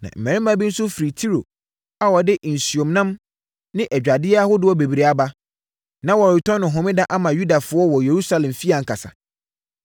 Na mmarima bi nso firi Tiro a wɔde nsuomnam ne adwadeɛ ahodoɔ bebree aba. Na wɔretɔn no Homeda ama Yudafoɔ wɔ Yerusalem fie ankasa!